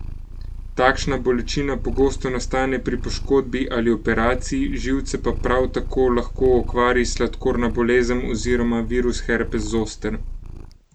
Takšna bolečina pogosto nastane pri poškodbi ali operaciji, živce pa prav tako lahko okvari sladkorna bolezen oziroma virus herpes zoster.